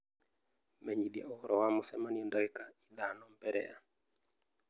menyithia ũhoro wa mũcemanio dagĩka ithano mbere ya .